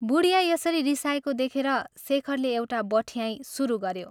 बुढिया यसरी रिसाएको देखेर शेखरले एउटा बठ्याईं शुरू गऱ्यो।